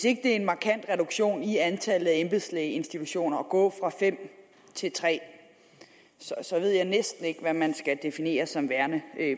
ikke er en markant reduktion i antallet af embedslægeinstitutioner at gå fra fem til tre så ved jeg næsten ikke hvad man skal definere som værende